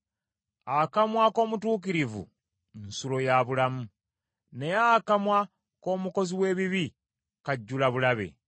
Akamwa ak’omutuukirivu nsulo ya bulamu, naye akamwa k’omukozi w’ebibi kajjula bulabe.